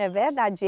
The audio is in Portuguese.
É verdade.